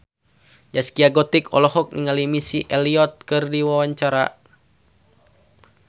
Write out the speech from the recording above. Zaskia Gotik olohok ningali Missy Elliott keur diwawancara